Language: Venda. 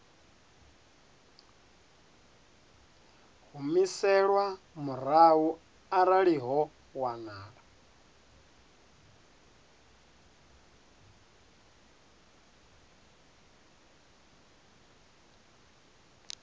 humiselwa murahu arali ho wanala